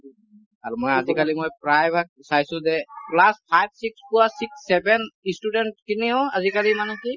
আৰু মই আজিকালি মই প্ৰায়ভাগ চাইছো যে class five six পোৱা six seven student খিনিও আজিকালি মানে কি